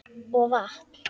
Og vatn.